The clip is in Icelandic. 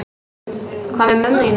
Hvað með mömmu þína?